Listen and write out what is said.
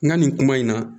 N ka nin kuma in na